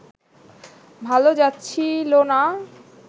ভালো যাচ্ছিলনা